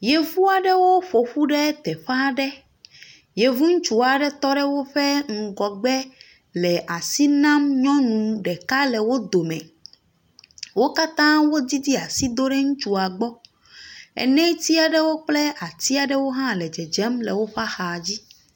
Yevu aɖewo ƒo ƒu ɖe teƒe aɖe, yevuŋutsu aɖe tɔ ɖe woƒe ŋgɔgbe le asi nam nyɔnu ɖeka le wo dome, wo katãa wodidi asi do ɖe ŋutsua gbɔ, eneti aɖewo kple ati aɖewo hã le dzedzem woƒe axa dzi.